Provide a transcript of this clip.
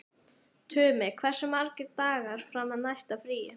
Tumi, hversu margir dagar fram að næsta fríi?